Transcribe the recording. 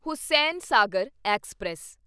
Hussain Sagar express